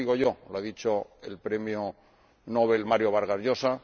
No lo digo yo lo ha dicho el Premio Nobel Mario Vargas Llosa.